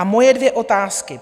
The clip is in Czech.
A moje dvě otázky.